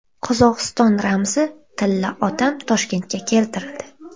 Qozog‘iston ramzi - Tilla odam Toshkentga keltirildi.